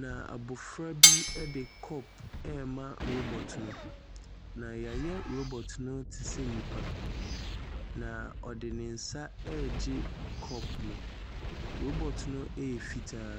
na abofra bi ɛde cup rema robot no. na yɛayɛ robot no te sɛ nnipa, na ɔde nensa regye cup no. robot no yɛ fitaa.